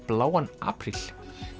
bláan apríl